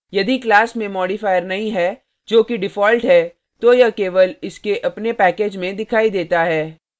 यदि class में modifier नहीं है जो कि default है तो यह केवल इसके अपने package में दिखाई देता है